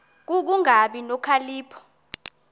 ku kungabi nokhalipho